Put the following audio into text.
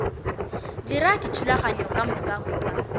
dira dithulaganyo ka moka kua